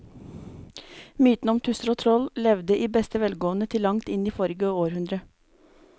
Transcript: Mytene om tusser og troll levde i beste velgående til langt inn i forrige århundre.